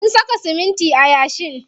Mun saka siminti a yashin.